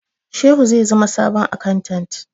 Shehu zai zama sabon akantat